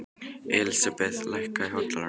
Elísabeth, lækkaðu í hátalaranum.